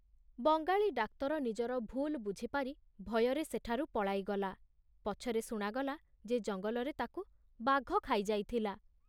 Bengali doctor ନିଜର ଭୁଲ ବୁଝିପାରି ଭୟରେ ସେଠାରୁ ପଳାଇଗଲା ପଛରେ ଶୁଣାଗଲା ଯେ ଜଙ୍ଗଲରେ ତାକୁ ବାଘ ଖାଇଯାଇଥିଲା।